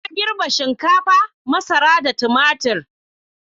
Na girbe shinkafa, masara da tumatir.